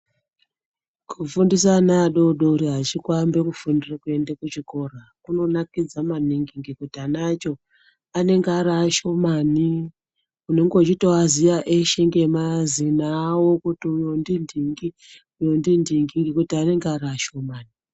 Kufundisa ana adodori achikuamba kufundira kuenda kuchikora kunonakidza maningi ngekuti ana acho anenge ari ashomani unenge uchitovaziya veshe ngemazina avo kuti uyo ndinhingi uyo ndinhingi ngekuti anenge ari ashomani.